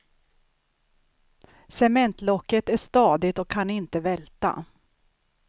Cementlocket är stadigt och kan inte välta.